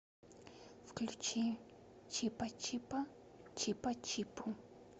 включи чипачипа чипачипу